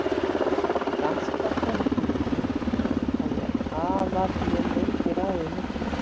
Í danska konungsríkinu hafði aðallinn lengi ráðið miklu.